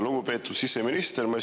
Lugupeetud siseminister!